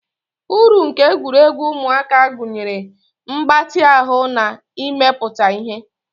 Uru nke egwuregwu ụmụaka gụnyere mgbatị ahụ na imepụta ihe.